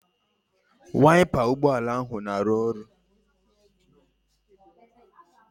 Waipa ụgbọala ahụ na-arụ ọrụ